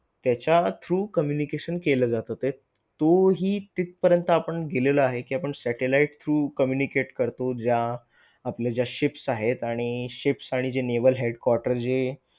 त्याच्या through communication केलं जात ते तो हि तिथपर्यंत आपण गेलेलो आहे, कि आपण satellite through communication करतो ज्या आपल्या ज्या ships आहेत आणि ships आणि जे naval headquarters जे